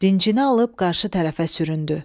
Dincini alıb qarşı tərəfə süründü.